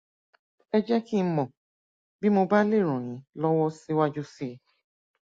ẹ jẹ kí n mọ bí mo bá lè ràn yín lọwọ síwájú síi